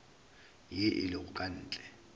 ye e lego ka ntle